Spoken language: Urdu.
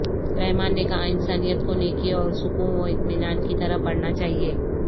رحمان نے کہا انسانیت کو نیکی اور سکوں و اطمینان کی طرف بڑھنا چاہئے